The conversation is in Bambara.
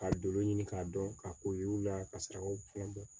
Ka doro ɲini k'a dɔn k'a ko yir'u la ka saraw fana bɔ